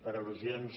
per al·lusions